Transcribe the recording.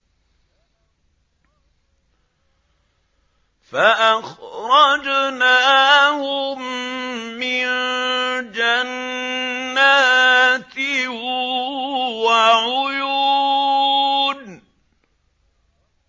فَأَخْرَجْنَاهُم مِّن جَنَّاتٍ وَعُيُونٍ